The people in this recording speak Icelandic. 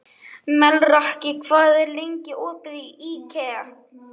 Melrakki, hvað er lengi opið í IKEA?